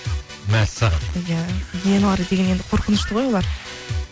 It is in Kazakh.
мәссаған иә гиеналар деген енді қорқынышты ғой олар